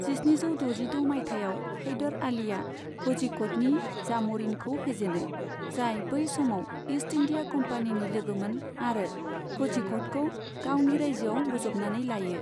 जिस्निजौ द'जिद' मायथाइयाव, हैदार आलीआ क'झिक'डनि जाम'रिनखौ फेजेनो, जाय बै समाव इस्ट इन्डिया कम्पानीनि लोगोमोन आरो क'झिक'डखौ गावनि रायजोआव बोज'बनानै लायो।